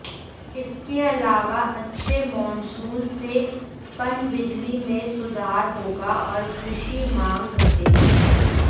इसके अलावा अच्छे मॉनसून से पनबिजली में सुधार होगा और कृषि मांग घटेगी